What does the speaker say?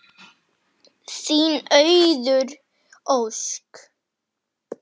Þín Auður Ósk.